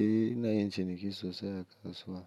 Eh ina yin ciniki sosai a kasuwa.